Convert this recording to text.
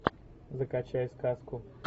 закачай сказку